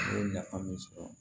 O ye nafa min sɔrɔ